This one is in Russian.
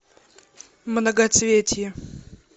многоцветие